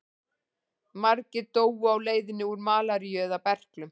Margir dóu á leiðinni úr malaríu eða berklum.